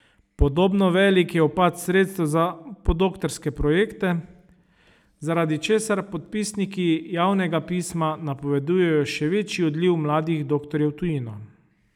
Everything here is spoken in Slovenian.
Podobno velik je upad sredstev za podoktorske projekte, zaradi česar podpisniki javnega pisma napovedujejo še večji odliv mladih doktorjev v tujino.